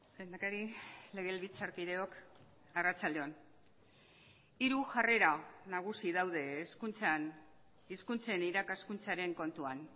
lehendakari legebiltzarkideok arratsalde on hiru jarrera nagusi daude hezkuntzan hizkuntzen irakaskuntzaren kontuan